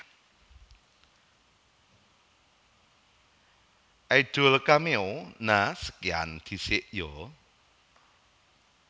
Idol cameo Nha sekian ndisik yo